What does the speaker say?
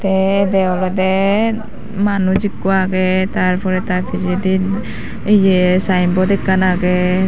te ede olode manuj ekko aage tarpore ta pijedi sign board ekkan age.